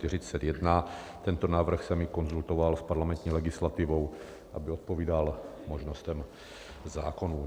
Tento návrh jsem i konzultoval s parlamentní legislativou, aby odpovídal možnostem zákonů.